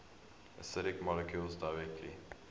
acidic molecules directly